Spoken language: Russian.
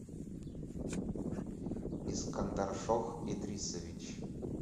искандаршох идрисович